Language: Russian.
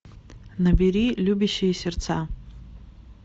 набери любящие сердца